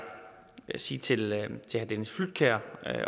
sige til herre dennis flydtkjær